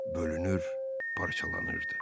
Bölünür, parçalanırdı.